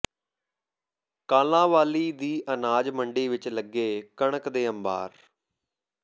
ਕਾਲਾਂਵਾਲੀ ਦੀ ਅਨਾਜ ਮੰਡੀ ਵਿਚ ਲੱਗੇ ਕਣਕ ਦੇ ਅੰਬਾਰ